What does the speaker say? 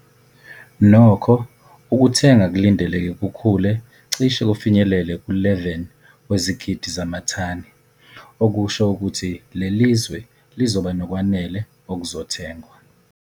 Nokho, ukuthenga kulindeleke kukhule cishe kufinyelele ku-11 wezigidi zamathani, okusho ukuthi lelizwe lizoba nokwanele okuzothengwa.